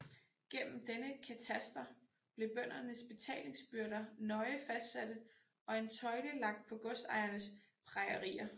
Gennem denne kataster blev bøndernes betalingsbyrder nøje fastsatte og en tøjle lagt på godsejernes prejerier